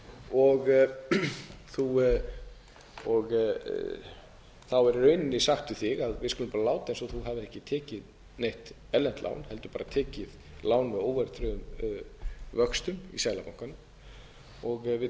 og þá er í rauninni sagt við þig við skulum bara láta eins og þú hafir ekki tekið neitt erlent lán heldur bara tekið lán með óverðtryggðum vöxtum í seðlabankanum við